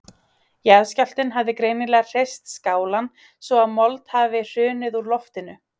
Jarðskjálftinn hafði greinilega hrist skálann svo að mold hafði hrunið úr loftinu.